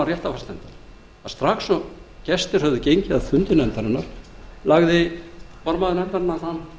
að strax og gestir höfðu gengið af fundi nefndarinnar lagði formaður nefndarinnar fram